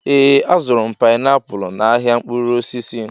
Ee, azụrụ m painiapulu a n'ahịa mkpụrụ osisi.